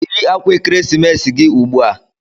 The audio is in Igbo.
Yiri akwa ekeresimesi gị ugbu a!